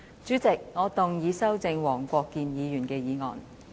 主席，我動議修正黃國健議員的議案。